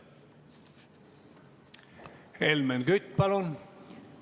Helmen Kütt, palun!